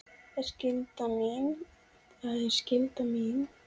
Það er skylda mín.